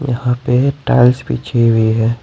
यहां पर टाइल्स बिछी हुई है।